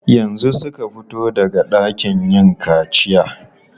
Yanzu suka fito daga ɗakin yin kaciya.